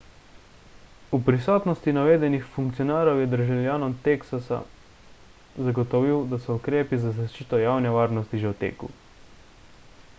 v prisotnosti navedenih funkcionarjev je državljanom teksasa zagotovil da so ukrepi za zaščito javne varnosti že v teku